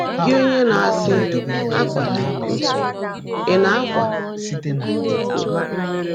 Gị́, ónyé ná-ásị́ ‘Ákwàla íkó,’ ị̀ ná-ákwa íkó?”